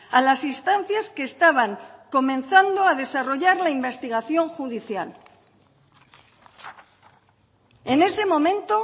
a las instancias que estaban comenzando a desarrollar la investigación judicial en ese momento